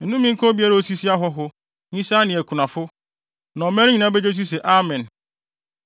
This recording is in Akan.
“Nnome nka obiara a osisi ahɔho, nyisaa ne akunafo.” Na ɔman no nyinaa begye so se, “Amen!”